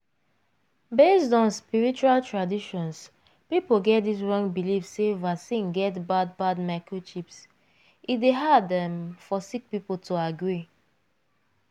based on spiritual traditions people get dis wrong believe sey vaccine get bad bad microchips e dey hard um for sick people to agree.